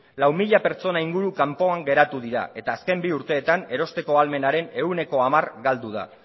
lau mila pertsona inguru kanpoan geratu dira eta azken bi urteetan erosteko ahalmenaren ehuneko hamar galdu da